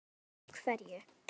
Og af hverju.